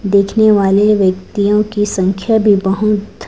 देखने वालें व्यक्तियों की संख्या भी बहुत--